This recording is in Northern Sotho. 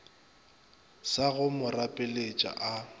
sa go mo rapeletša a